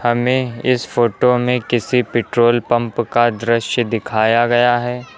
में इस फोटो में किसी पेट्रोल पंप का दृश्य दिखाया गया है।